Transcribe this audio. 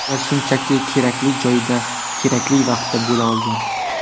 Ular shunchaki kerakli joyda kerakli vaqtda bo‘la olgan.